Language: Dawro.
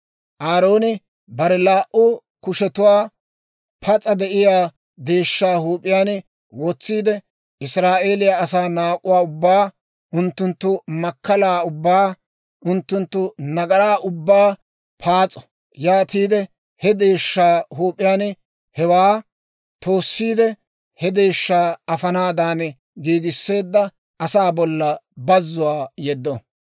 Aarooni bare laa"u kushetuwaa pas'a de'iyaa deeshshaa huup'iyaan wotsiide, Israa'eeliyaa asaa naak'uwaa ubbaa, unttunttu makkalaa ubbaa, unttunttu nagaraa ubbaa paas'o; yaatiide he deeshshaa huup'iyaan hewaa toossiide he deeshshaa afanaadan giigisseedda asaa bollan bazzuwaa yeddo.